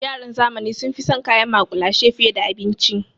Yaran zamani sun fi son kayan maƙulashe fiye da abinci.